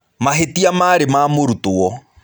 Mahĩtia marĩ ma mũrutwo.